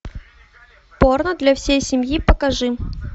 порно для всей семьи покажи